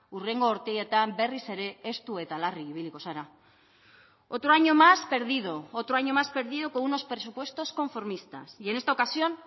hurrengo urteetan berriz ere estu eta larri ibiliko zara otro año más perdido otro año más perdido con unos presupuestos conformistas y en esta ocasión